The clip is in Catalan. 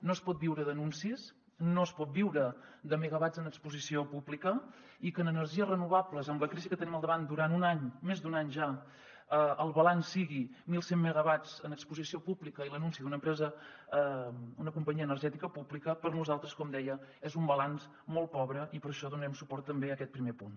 no es pot viure d’anuncis no es pot viure de megawatts en exposició pública i que en energies renovables amb la crisi que tenim al davant durant un any més d’un any ja el balanç sigui mil cent megawatts en exposició pública i l’anunci d’una empresa una companyia energètica pública per nosaltres com deia és un balanç molt pobre i per això donarem suport també a aquest primer punt